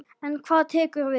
En hvað tekur við?